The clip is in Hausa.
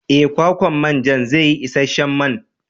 Ee, kwakwan manjan zai yi isasshen man.